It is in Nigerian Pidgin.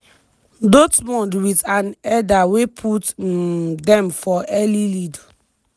dortmund wit an header wey put um dem for early lead.